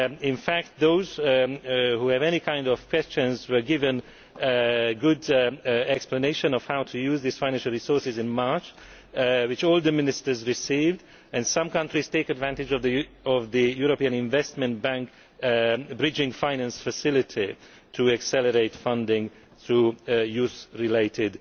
In fact those who have any kind of questions were given a good explanation of how to use these financial resources in March, which all the Ministers received, and some countries take advantage of the European Investment Bank bridging finance facility to accelerate funding to youth related